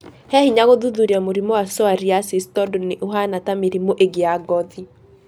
He hinya gũthuthuria mũrimũ wa psoariasis tondũ nĩ ũhana ta mĩrimũ ĩngĩ ya gothi.